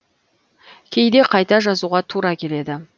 кейде қайта жазуға тура келеді